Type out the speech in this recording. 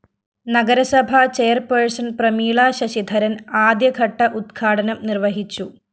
നഗരസഭ ചെയർപേഴ്സൺ പ്രമീളാ ശശിധരന്‍ അദ്യഘട്ട ഉദ്ഘാടനം നിര്‍വ്വഹിച്ചു